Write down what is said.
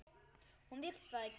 Hún vill það ekki.